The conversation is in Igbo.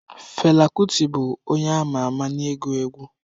Fela Kuti bụ onye ama ama n'ịgụ egwu.